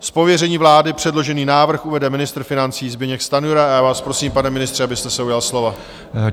Z pověření vlády předložený návrh uvede ministr financí Zbyněk Stanjura a já vás prosím, pane ministře, abyste se ujal slova.